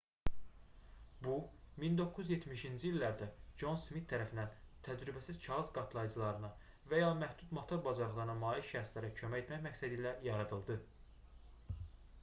bu 1970-ci illərdə con smit tərəfindən təcrübəsiz kağız qatlayıcılarına və ya məhdud motor bacarıqlarına malik şəxslərə kömək etmək məqsədilə yaradıldı